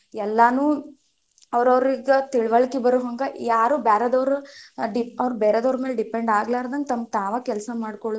ಎಲ್ಲಾನು, ಅವರವರಿಗೆ ತಿಳವಳಿಕೆ ಬರುಹಂಗ ಯಾರು ಬ್ಯಾರೆದವ್ರ್ ಅವ್ರ್ ಬೆರೆದವರ ಮ್ಯಾಲೆ depend ಆಗಲಾರದಂಗ ತಮ್ಮ ತಾವ ಕೆಲಸ ಮಾಡ್ಕೊಳುದನ್ನ.